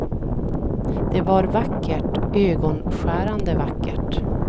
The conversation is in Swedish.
Det var vackert, ögonskärande vackert.